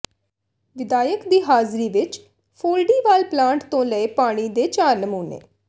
ਵਿਧਾਇਕ ਦੀ ਹਾਜ਼ਰੀ ਵਿਚ ਫੋਲੜੀਵਾਲ ਪਲਾਂਟ ਤੋਂ ਲਏ ਪਾਣੀ ਦੇ ਚਾਰ ਨਮੂਨੇ